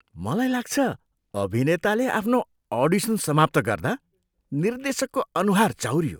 मलाई लाग्छ, अभिनेताले आफ्नो अडिसन समाप्त गर्दा निर्देशकको अनुहार चाउरियो।